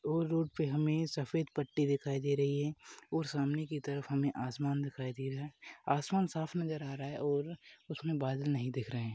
ये रोड पर हमे सफेद पट्टी दिखाई दे रही है और सामने की तरफ आसमान दिखाई दे रहा है आसमान साफ नजर आ रहा है और उसमे बादल नहीं दिख रहे हैं।